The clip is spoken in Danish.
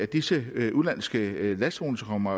disse udenlandske lastvogne som kommer